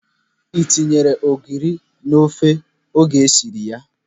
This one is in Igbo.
Ị tinyere ogiri n'ofe a oge ịsịrị ya?